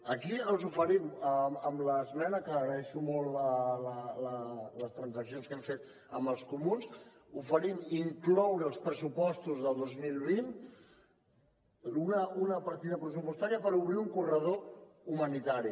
aquí els oferim amb l’esmena que agraeixo molt les transaccions que hem fet amb els comuns incloure als pressupostos del dos mil vint una partida pressupostària per obrir un corredor humanitari